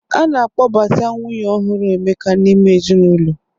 A na-akpọbata nwunye ọhụrụ Emeka n'ime ezinụlọ.